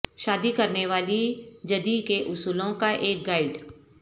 شادی کرنے والی جدی کے اصولوں کا ایک گائیڈ